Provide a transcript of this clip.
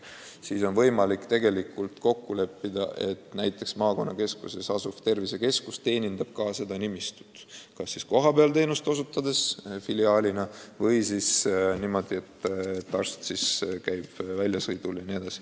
Siis ongi võimalik kokku leppida, et maakonnakeskuses asuv tervisekeskus teenindab ka seda nimistut kas kohapeal nagu filiaalis arstiabi osutades või niimoodi, et arst käib väljasõitudel.